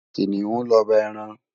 Kiniún lòbá èrán